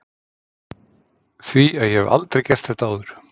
ÞVÍ AÐ ÉG HEF ALDREI GERT ÞETTA ÁÐUR!